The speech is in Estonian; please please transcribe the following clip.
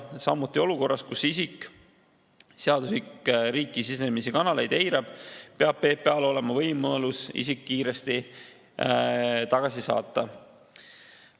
Samuti peab olukorras, kus isik on seaduslikke riiki sisenemise kanaleid eiranud, PPA‑l olema võimalus isik kiiresti tagasi saata.